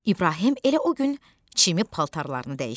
İbrahim elə o gün çirkli paltarlarını dəyişdi.